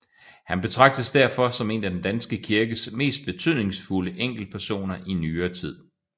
Han betragtes derfor som en af den danske kirkes mest betydningsfulde enkeltpersoner i nyere tid